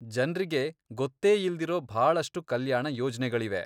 ಜನ್ರಿಗೆ ಗೊತ್ತೇಯಿಲ್ದಿರೋ ಭಾಳಷ್ಟು ಕಲ್ಯಾಣ ಯೋಜ್ನೆಗಳಿವೆ.